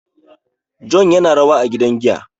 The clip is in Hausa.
John yana rawa a gidan giya